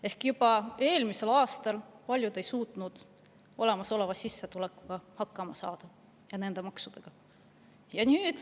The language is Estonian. Ehk juba eelmisel aastal ei suutnud paljud hakkama saada olemasoleva sissetulekuga ja kõigi nende maksudega.